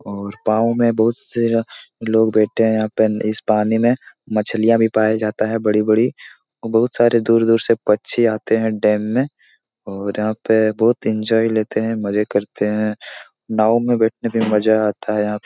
और गांव में बहुत लोग बैठे हैं यहाँ पे इस पानी में मछलियाँ भी पाया जाता है बड़ी-बड़ी बहुत सारे दूर-दूर से पछि आते है डैम में और यहाँ पे बहुत एन्जॉय लेते है मजे करते है नाव में बैठने पे मज़ा आता है यहाँ --